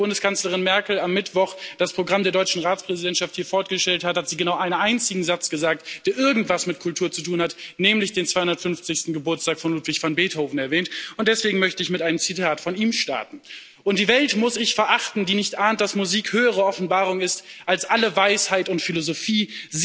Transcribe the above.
Als Bundeskanzlerin Merkel am Mittwoch ´hier das Programm der deutschen Ratspräsidentschaft vorgestellt hat, hat sie genau einen einzigen Satz gesagt, der irgendetwas mit Kultur zu tun hatte, nämlich den zweihundertfünfzigsten Geburtstag Ludwig von Beethovens erwähnt. Deswegen möchte ich mit einem Zitat von ihm starten Und die Welt muss ich verachten, die nicht ahnt, dass Musik höhere Offenbarung ist als alle Weisheit und Philosophie.